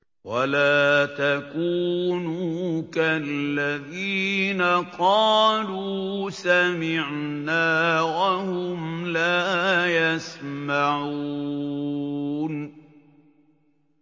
وَلَا تَكُونُوا كَالَّذِينَ قَالُوا سَمِعْنَا وَهُمْ لَا يَسْمَعُونَ